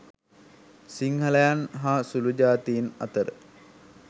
සිංහලයන් හා සුලූ ජාතීන් අතර